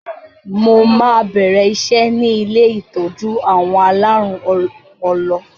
Mo máa bẹ̀rẹ̀ iṣẹ́ ni ilé ìtọ́jú àwọn alárùn ọpọlọ